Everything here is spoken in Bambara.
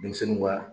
Denmisɛnninw ka